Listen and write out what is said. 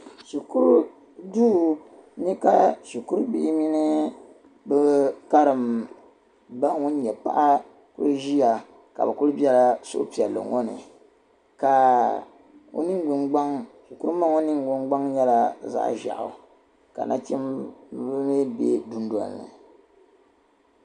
Shikuru duu ni ka shikuru bihi mini bɛ karimba wun nyɛ paɣa o ziya ka bɛ kuli bɛla suhi piɛlli ŋɔ ni ka o mii ningbaŋ shikuru ma ŋɔ ningbaŋ nyɛla zaɣ'zeihahi ka nachimbihi mii be duunoli ni